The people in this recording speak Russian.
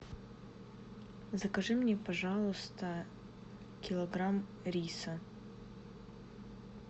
закажи мне пожалуйста килограмм риса